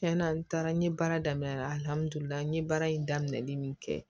Tiɲɛna n taara n ye baara daminɛ n ye baara in daminɛli min kɛ